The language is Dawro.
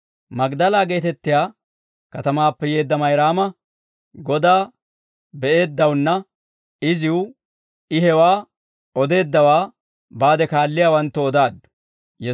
Magdala geetettiyaa katamaappe yeedda Mayraama Godaa be'eeddawaanne iziw I hewaa odeeddawaa baade kaalliyaawanttoo odaaddu.